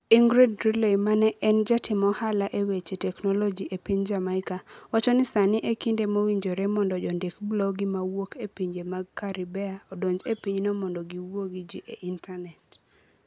Ingrid Riley ma en jatim ohala e weche teknoloji e piny Jamaica, wacho ni sani e kinde mowinjore mondo jondik blogi mawuok e pinje mag Caribbea odonj e pinyno mondo giwuo gi ji e Intanet.